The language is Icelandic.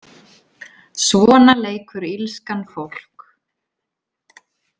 Svona leikur illskan fólk.